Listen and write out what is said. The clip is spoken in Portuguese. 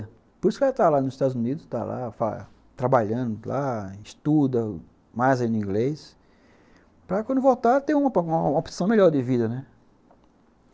Por isso que ela está lá nos Estados Unidos, trabalhando lá, estuda mais inglês, para quando voltar ter uma opção melhor de vida, né?